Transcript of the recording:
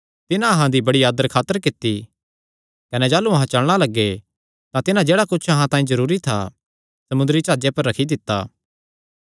तिन्हां अहां दा बड़ी आदर खातर कित्ती कने जाह़लू अहां चलणा लग्गे तां तिन्हां जेह्ड़ा कुच्छ अहां तांई जरूरी था समुंदरी जाह्जे पर रखी दित्ता